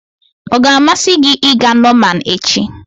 Ọ ga-amasị gị ịga Norman echi?